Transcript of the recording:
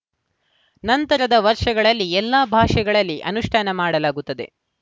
ನಂತರದ ವರ್ಷಗಳಲ್ಲಿ ಎಲ್ಲಾ ಭಾಷೆಗಳಲ್ಲಿ ಅನುಷ್ಠಾನ ಮಾಡಲಾಗುತ್ತದೆ